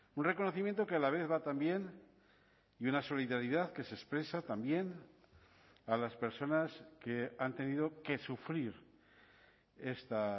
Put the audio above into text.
un reconocimiento que a la vez va también y una solidaridad que se expresa también a las personas que han tenido que sufrir esta